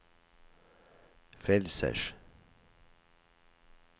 frelsers